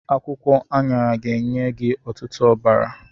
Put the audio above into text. Akwụkwọ aṅara ga-enye gị ọtụtụ ọbara.